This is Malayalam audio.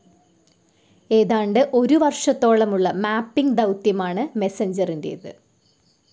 ഏതാണ്ട് ഒരു വർഷത്തോളമുള്ള മാപ്പിംഗ്‌ ദൌത്യമാണ് മെസഞ്ചറിൻ്റെത്.